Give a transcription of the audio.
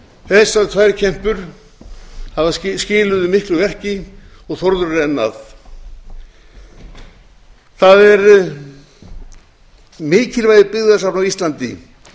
þessar tvær kempur skiluðu miklu verki og þórður er enn að mikilvægi byggðasafna á íslandi